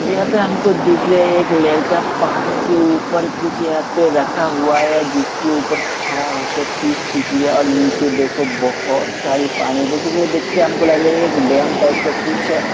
यहाँं पर हमको दिख रहे है एक लड़का पानी के ऊपर कुछ यहाँं पे रखा हुआ है जिसके ऊपर खड़ा हो कर पिक खींच है और नीचे देखो बोहोत सारे पानी बेसीकली देख के हमको लग रहा है एक डेम टाइप कुछ है।